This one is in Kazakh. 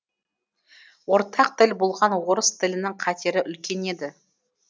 ортақ тіл болған орыс тілінің қатері үлкен еді